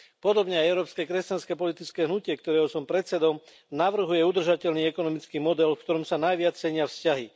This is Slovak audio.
Podobne aj Európske kresťanské politické hnutie, ktorého som predsedom, navrhuje udržateľný ekonomický model, v ktorom sa najviac cenia vzťahy.